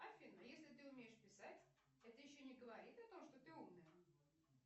афина если ты умеешь писать это еще не говорит о том что ты умная